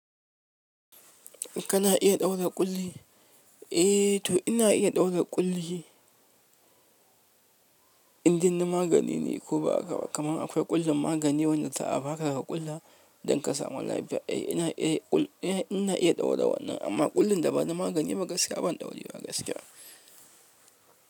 Kana iya ɗaura ƙulli? Eh to ina iya ɗaura ƙulli, indin na magani ne ko ba aka ba, kaman akwai ƙullin magani wanda za a ba ka ka ƙulla don ka samu lafiya. Eh ina iya, ina iya ɗaura wannan amma ƙullin da ba na magani ba gaskiya ban ɗaurewa ba gaskiya.